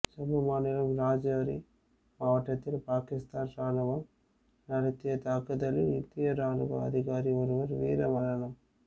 ஜம்மு மாநிலம் ரஜோரி மாவட்டத்தில் பாகிஸ்தான் ராணுவம் நடத்திய தாக்குதலில் இந்திய ராணுவ அதிகாரி ஒருவர் வீரமரணம்